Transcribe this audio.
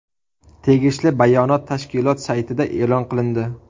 Tegishli bayonot tashkilot saytida e’lon qilindi .